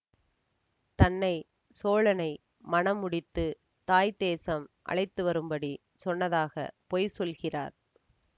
தன்னை சோழனை மணம் முடித்து தாய் தேசம் அழைத்துவரும்படி சொன்னதாக பொய் சொல்கிறார்